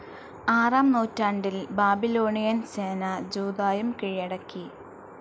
ആറാം നൂറ്റാണ്ടിൽ ബാബിലോണിയൻ സേന ജൂദായും കീഴടക്കി.